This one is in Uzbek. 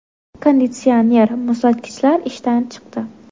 Konditsioner, muzlatgichlar ishdan chiqdi.